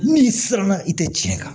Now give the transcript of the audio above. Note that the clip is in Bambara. Min siranna i tɛ tiɲɛ kan